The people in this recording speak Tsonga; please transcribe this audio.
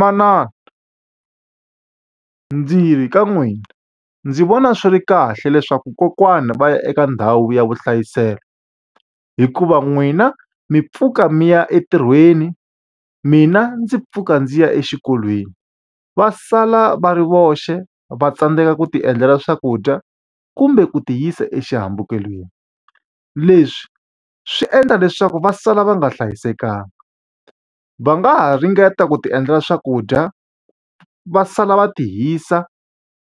Manana, ndzi yi ka n'wina ndzi vona swi ri kahle leswaku kokwana va ya eka ndhawu ya vuhlayiselo. Hikuva n'wina mi pfuka mi ya entirhweni, mina ndzi pfuka ndzi ya exikolweni. Va sala va ri voxe va tsandzeka ku ti endlela swakudya, kumbe ku ti yisa exihambukelweni. Leswi swi endla leswaku va sala va nga hlayisekanga. Va nga ha ringeta ku ti endlela swakudya, va sala va ti hisa